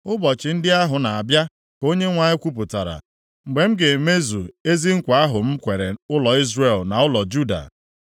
“ ‘Ụbọchị ndị ahụ na-abịa,’ ka Onyenwe anyị kwupụtara, ‘mgbe m ga-emezu ezi nkwa ahụ m kwere ụlọ Izrel na ụlọ Juda.